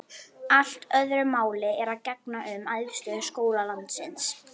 Allt öðru máli er að gegna um æðstu skóla landsins.